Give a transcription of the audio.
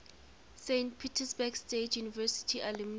saint petersburg state university alumni